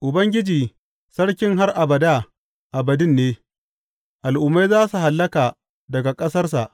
Ubangiji Sarkin har abada abadin ne; al’ummai za su hallaka daga ƙasarsa.